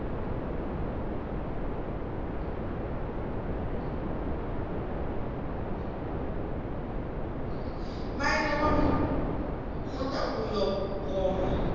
maine wa muḽa uyo ngoma